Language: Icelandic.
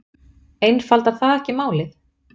Einfaldar það ekki málið?